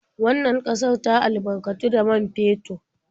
Wannan ƙasar ta albarkatu da man fetur.